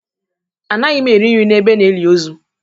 Anaghị m eri nri n'ebe a na-eli ozu